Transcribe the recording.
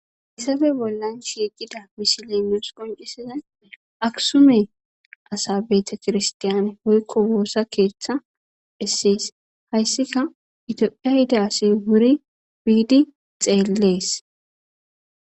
Issafe bollan shiiqida mishilenoos qoncisiza aksume asabeeta kirstiyaane hoykko woossa keeththa essees hayssika itophia hida asi wuri wiidi xeellees